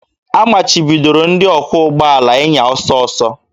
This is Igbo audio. A machibidoro ndị ọkwọ ụgbọ ala ịnya ọsọ ọsọ